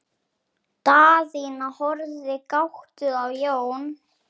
Daðína horfði gáttuð á Jón.